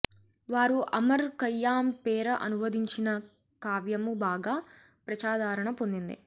వారు Omar Khayyam పేర అనువదించిన కావ్యమూ బాగా ప్రజాదరణ పొందింది